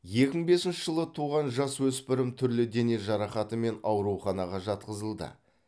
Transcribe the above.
екі мың бесінші жылы туған жасөспірім түрлі дене жарақатымен ауруханаға жатқызылды